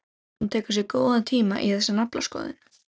Hún tekur sér góðan tíma í þessa naflaskoðun.